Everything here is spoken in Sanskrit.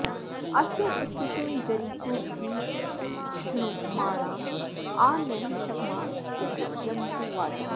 अस्य स्तुतिं जरितुर्भिक्षमाणा आ नः शग्मास उप यन्तु वाजाः